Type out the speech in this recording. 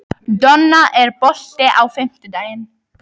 Donna, er bolti á fimmtudaginn?